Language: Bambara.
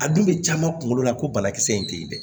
A dun bɛ caman kunkolo la ko banakisɛ in tɛ ye dɛ